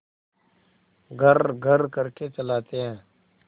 घर्रघर्र करके चलाते हैं